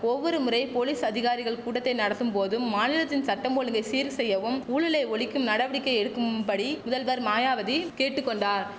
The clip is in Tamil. ஒவ்வொரு முறை போலீஸ் அதிகாரிகள் கூட்டத்தை நடத்தும் போதும் மாநிலத்தின் சட்டம் ஒழுங்கை சீர் செய்யவும் ஊழலை ஒழிக்கவும் நடவடிக்கை எடுக்கும்படி முதல்வர் மாயாவதி கேட்டு கொண்டார்